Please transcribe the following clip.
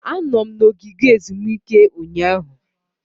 Anọ m na ogige ezumike ụnyaahụ.